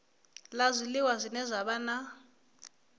la zwiliwa zwine zwa vha